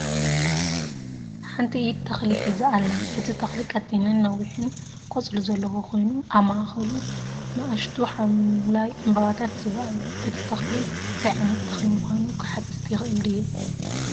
ሓንቲ ኢድ ተኽሊ ሒዛ ኣላ። እቲ ተኽሊ ቀጢንን ነዊሕን ቆጽሊ ዘለዎ ኮይኑ፡ ኣብ ማእከሉ ንኣሽቱ ሐምላይ ዕምባባታት ይረኣዩ። እቲ ተኽሊ እንታይ ዓይነት ተኽሊ ምዃኑ ክሓትት ይኽእል ድየ?